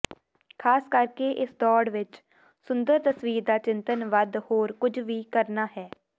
ਖ਼ਾਸ ਕਰਕੇ ਇਸ ਦੌੜ ਵਿਚ ਸੁੰਦਰ ਤਸਵੀਰ ਦਾ ਚਿੰਤਨ ਵੱਧ ਹੋਰ ਕੁਝ ਵੀ ਕਰਨਾ ਹੈ